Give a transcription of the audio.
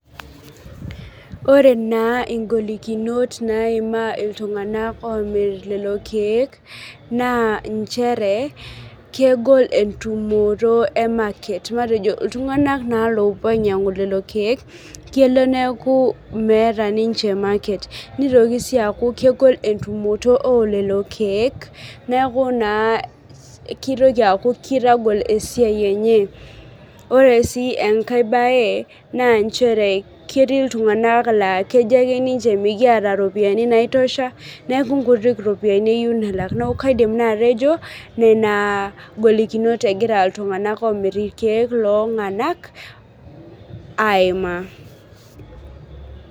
Ore naa igolikinot naima iltung'ana omir lelo keek na inchere kegol entumoto ee market. Iltung'ana naa loopuo ainyang'u leo keek kelo neeku meeta ninche market nitoki sii akuu kegol entumoto oo lelo keek neeku naa kitokii akuu kitagol esiai enye. Ore sii enkae bae na nchere ketii iltung'ana laa kejo ake ninche mikiata iropiani naitosha neeku nkutik ropiani elak. Neeku kaidim naa atejo nena golikinot egira iltung'ana lomir ikeek lonanak aimaa.